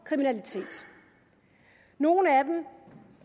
kriminalitet nogle af dem